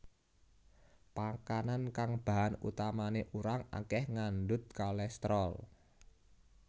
Pakanan kang bahan utamané urang akeh ngandut kolesterol